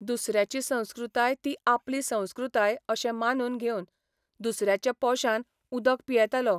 दुसऱ्याची संस्कृताय ती आपली संस्कृताय अशें मानून घेवन दुसऱ्याच्या पोशान उदक पियेतालो.